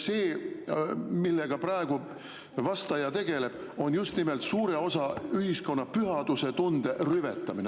See, millega vastaja praegu tegeleb, on just nimelt suure osa ühiskonna pühadusetunde rüvetamine.